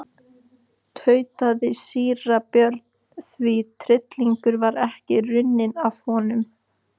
tautaði síra Björn því tryllingurinn var ekki runninn af honum.